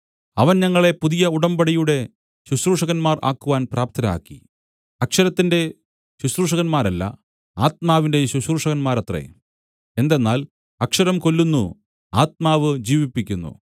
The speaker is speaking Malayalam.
അവൻ ഞങ്ങളെ പുതിയ ഉടമ്പടിയുടെ ശുശ്രൂഷകന്മാർ ആകുവാൻ പ്രാപ്തരാക്കി അക്ഷരത്തിന്റെ ശുശ്രൂഷകന്മാരല്ല ആത്മാവിന്റെ ശുശ്രൂഷകന്മാരത്രെ എന്തെന്നാൽ അക്ഷരം കൊല്ലുന്നു ആത്മാവ് ജീവിപ്പിക്കുന്നു